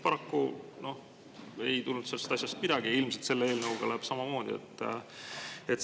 Paraku ei tulnud sellest asjast midagi, ilmselt läheb selle eelnõuga samamoodi.